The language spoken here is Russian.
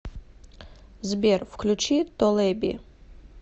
сбер включи толеби